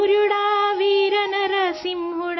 اے Veer Narsingh!